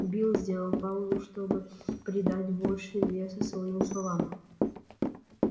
билл сделал паузу чтобы придать больше веса своим словам